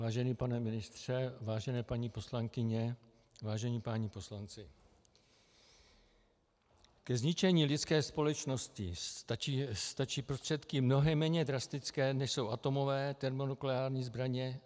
Vážený pane ministře, vážené paní poslankyně, vážení páni poslanci, ke zničení lidské společnosti stačí prostředky mnohem méně drastické, než jsou atomové, termonukleární zbraně.